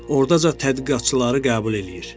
Ordaca tədqiqatçıları qəbul eləyir.